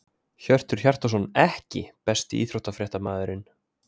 Hjörtur Hjartarson EKKI besti íþróttafréttamaðurinn?